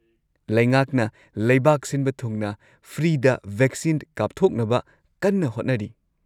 ꯂꯩꯉꯥꯛꯅ ꯂꯩꯕꯥꯛ ꯁꯤꯟꯕ ꯊꯨꯡꯅ ꯐ꯭ꯔꯤꯗ ꯚꯦꯛꯁꯤꯟ ꯀꯥꯞꯊꯣꯛꯅꯕ ꯀꯟꯅ ꯍꯣꯠꯅꯔꯤ꯫